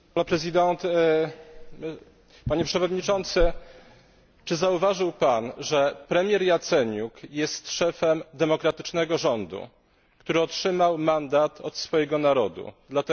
Panie Przewodniczący, czy zauważył Pan, że premier Jaceniuk jest szefem demokratycznego rządu, który otrzymał mandat od swojego narodu dlatego, że wygrał wybory?